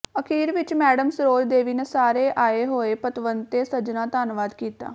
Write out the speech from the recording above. ਅਖੀਰ ਵਿਚ ਮੈਡਮ ਸਰੋਜ ਦੇਵੀ ਨੇ ਸਾਰੇ ਆਏ ਹੋਏ ਪਤਵੰਤੇ ਸੱਜਣਾਂ ਧੰਨਵਾਦ ਕੀਤਾ